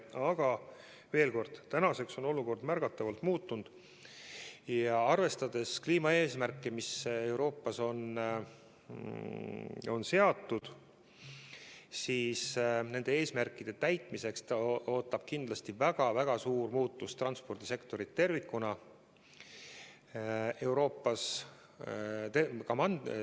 Aga veel kord, tänaseks on olukord märgatavalt muutunud ja arvestades kliimaeesmärke, mis Euroopas on seatud, ootab nende eesmärkide täitmisega seoses Euroopa transpordisektorit tervikuna ees väga-väga suur muutus.